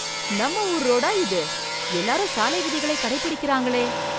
நம்ம ஊர் ரோடா இது! எல்லாரும் சாலை விதிகளை கடை பிடிக்கிறாங் களே!